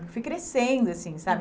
Fiquei crescendo, assim, sabe?